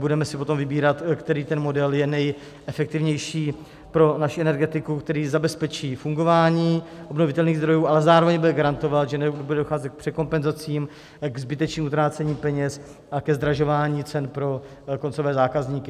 Budeme si potom vybírat, který ten model je nejefektivnější pro naši energetiku, který zabezpečí fungování obnovitelných zdrojů, ale zároveň bude garantovat, že nebude docházet k překompenzacím, k zbytečným utrácením peněz a ke zdražování cen pro koncové zákazníky.